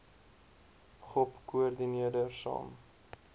gop koördineerder saam